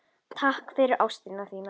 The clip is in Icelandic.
Takk fyrir ástina þína.